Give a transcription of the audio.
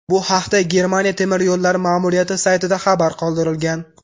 Bu haqda Germaniya temir yo‘llari ma’muriyati saytida xabar qoldirilgan .